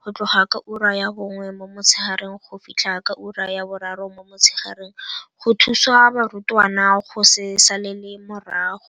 go tloga ka ura ya bongwe mo motshegareng go fitlha ka ura ya boraro mo motshegareng go thusa barutwana go se salele morago.